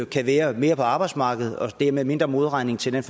kan være mere på arbejdsmarkedet og det er med mindre modregning til den